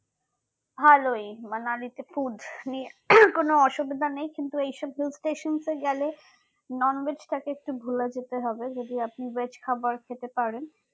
ভালোই মানালিতে food নিয়ে কোনো অসুবিধা নেই কিন্তু এইসব hill stations এ গেলে non veg তাকে একটু ভুলে যেতে হবে যদি আপনি veg খাবার খেতে পারেন